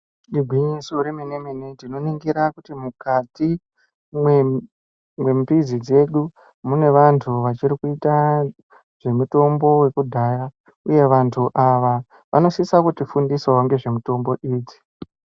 Igwinyiso remene mene tinoningira kuti mukati mwemi mbizi dzedu mune vantu vachiri kuita mitombo dzekudhaya uye vantu ava vanosisa kutifundisawo ngezve mutombo idzi.